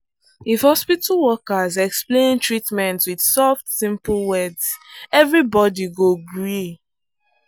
if hospital workers explain treatment with soft simple words everybody go gree.